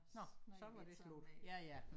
Snakkede vi ikke sammen mere